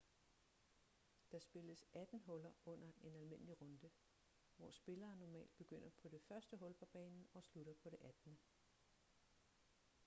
der spilles atten huller under en almindelig runde hvor spillere normalt begynder på det første hul på banen og slutter på det attende